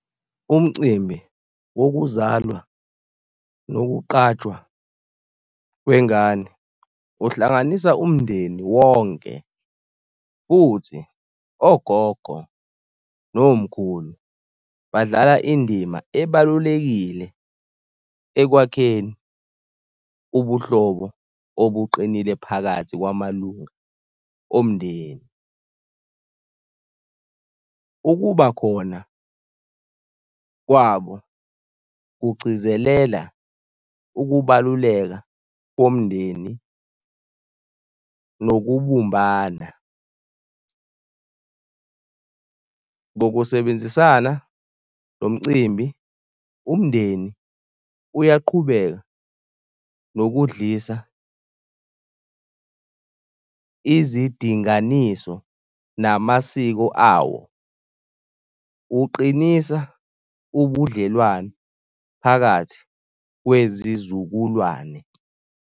Umcimbi wokuzalwa nokuqajwa kwengane uhlanganisa umndeni wonke futhi ogogo nomkhulu badlala indima ebalulekile ekwakheni ubuhlobo obuqinile phakathi kwamalunga omndeni. Ukuba khona kwabo kugcizelela ukubaluleka bomndeni nokubumbana. Ngokusebenzisana lo mcimbi umndeni uyaqhubeka nokudlisa izidinganiso namasiko awo. Uqinisa ubudlelwano phakathi kwezizukulwane.